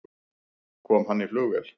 Kom hann í flugvél?